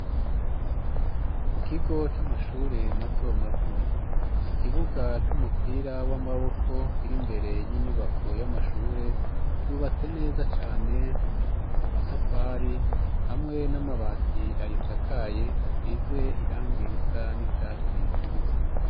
Mu kigo c'amashure mato mato, ikibuga c'umupira w'amaboko kiri mbere y'inyubako y'amashure ,yubatse neza cane ,amatafari hamwe n'amabati ayi sakaye ,asize irangi risa n'icatsi k'ibisi.